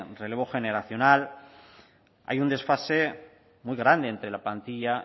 relevo generacional hay un desfase muy grande entre la plantilla